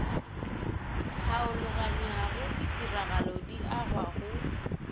tlhaologanyao ditiragalo di agwa go